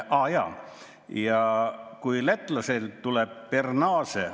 Aa jaa, ja kui lätlastel tuleb per nase ...